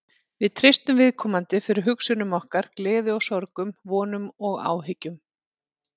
Við treystum viðkomandi fyrir hugsunum okkar, gleði og sorgum, vonum og áhyggjum.